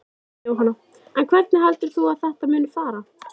Jóhanna: En hvernig heldur þú að þetta muni fara?